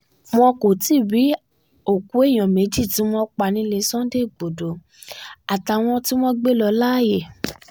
wọn kò tí ì rí òkú èèyàn méjì tí wọ́n pa nílẹ̀ sunday igbodò àtàwọn tí wọ́n gbé lọ láàyè